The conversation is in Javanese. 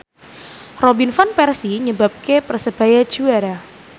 Robin Van Persie nyebabke Persebaya juara